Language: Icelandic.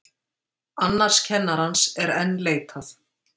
Annars kennarans er enn leitað